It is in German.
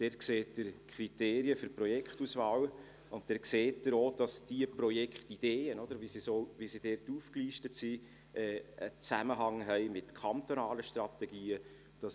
Dort sehen Sie die Kriterien für die Projektauswahl, und dort sehen Sie auch, dass die Projektideen, wie sie dort aufgelistet sind, einen Zusammenhang mit kantonalen Strategien haben.